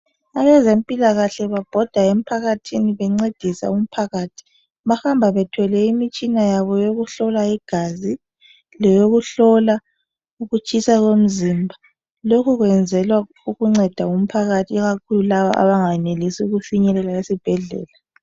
Abezempilakahle babhoda emphakathini bencedisa umphakathi. Bahamba bethwele imitshina yabo yokuhlola igazi leyokuhlola ukutshisa komzimba lokhu kwenzelwa ukunceda umphakathi ikakhulu kulabo abangenelisi ukufinyelela esibhedlela